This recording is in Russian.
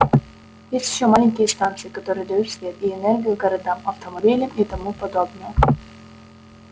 есть ещё маленькие станции которые дают свет и энергию городам автомобилям и тому подобное